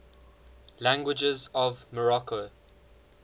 languages of morocco